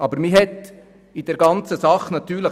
Im Nachhinein ist man klüger.